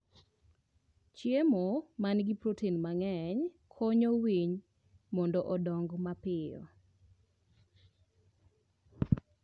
Chiemo ma nigi protein mang'eny konyo winy mondo odong mapiyo.